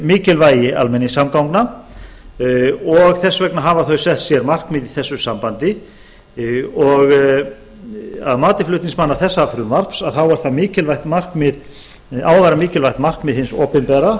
mikilvægi almenningssamgangna og þess vegna hafa þau sett sér markmið í þessu sambandi að mati flutningsmanna þessa frumvarps á það að vera mikilvægt markmið hins opinbera